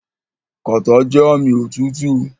Kàtá jẹ́ ààmì òtútù.